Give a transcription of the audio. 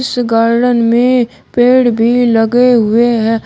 इस गार्डन में पेड़ भी लगे हुए है।